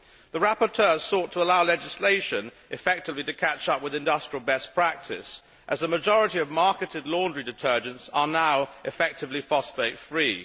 The rapporteur sought to allow legislation effectively to catch up with industrial best practice, as a majority of marketed laundry detergents are now effectively phosphate free.